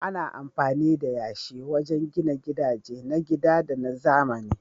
Ana amfani da yashi wajen gina gidaje na gida da na zamani.